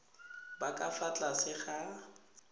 ba ka fa tlase ga